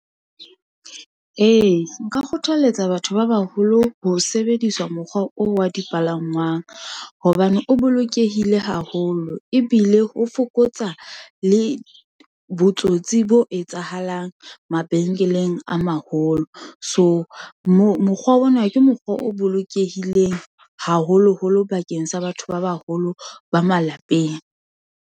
Ee, nka kgothaletsa batho ba baholo ho sebedisa mokgwa oo wa dipalangwang, hobane o bolokehile haholo, ebile ho fokotsa le botsotsi bo etsahalang mabenkeleng a maholo. So mokgwa ona ke mokgwa o bolokehileng, haholoholo bakeng sa batho ba baholo ba malapeng.